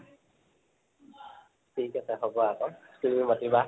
ঠিক আছে, হʼব আকৌ, তুমি মাতিবা